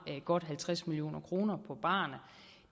godt halvtreds million kroner på barerne